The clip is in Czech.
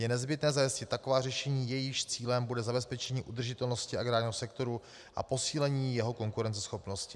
Je nezbytné zajistit taková řešení, jejichž cílem bude zabezpečení udržitelnosti agrárního sektoru a posílení jeho konkurenceschopnosti.